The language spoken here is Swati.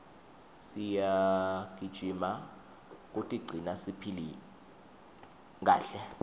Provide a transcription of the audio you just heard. siyagijima kutigcina siphile kahle